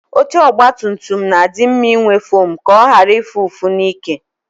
Oche ogbatumtum na-adị mma inwe fom ka ọ ghara ịfụ ụfụ n'ike.